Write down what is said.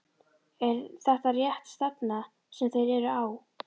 Er þetta rétt stefna sem þeir eru á?